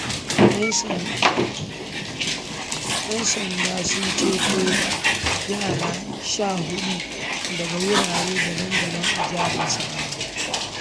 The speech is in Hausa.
‘Yan sanda sun ceto yara sha huɗu daga wuraren daban-daban a Jihar Nasarawa.